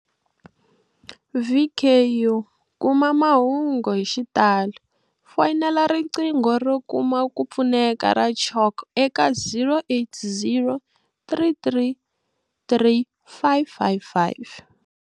VKu kuma mahungu hi xitalo, fonela riqingho ro kuma ku pfuneka ra CHOC eka 0800 333 555.